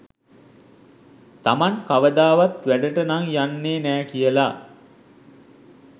තමන් කවදාවත් වැඩට නං යන්නේ නෑ කියලා.